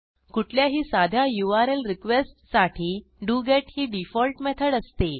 कुठल्याही साध्या यूआरएल रिक्वेस्टसाठी doGetही डिफॉल्ट मेथड असते